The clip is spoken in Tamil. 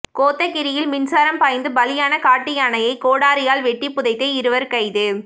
கோத்தகிரியில் மின்சாரம் பாய்ந்து பலியான காட்டு யானையை கோடாரியால் வெட்டி புதைத்த இருவர் கைது